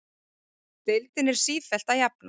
Deildin er sífellt að jafnast